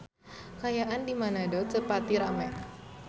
Kaayaan di Manado teu pati rame